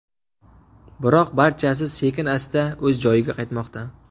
Biroq barchasi sekin-asta o‘z joyiga qaytmoqda.